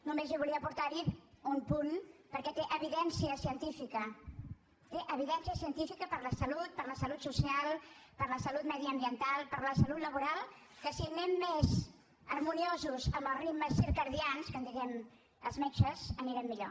només hi volia aportar un punt perquè té evidència científica té evidència científica per a la salut per a la salut social per a la salut mediambiental per a la salut laboral que si anem més harmoniosos amb els ritmes circadiaris que en diem els metges anirem millor